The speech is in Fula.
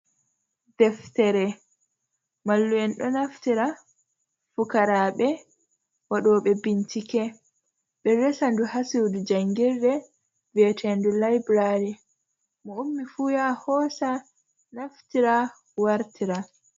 Ɗeftere, mallu’en ɗo naftira, fukarabe, waɗobe bincike. be resa ɗu ha sudu jangirɗe vieteɗuu laiburari. Mo ummi fu ya hosa naftira wartira.